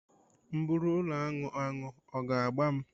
M bụrụ ụlọaṅụ aṅụ, ọ ga agba m?